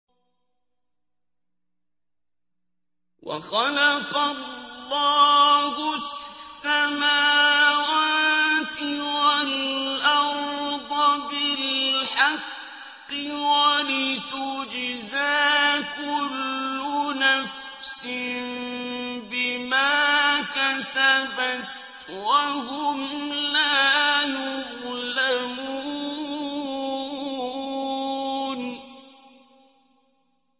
وَخَلَقَ اللَّهُ السَّمَاوَاتِ وَالْأَرْضَ بِالْحَقِّ وَلِتُجْزَىٰ كُلُّ نَفْسٍ بِمَا كَسَبَتْ وَهُمْ لَا يُظْلَمُونَ